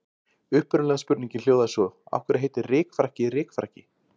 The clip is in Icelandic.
Upprunalega spurningin hljóðaði svo: Af hverju heitir rykfrakki rykfrakki?